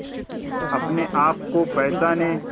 अपने आप को पहचाने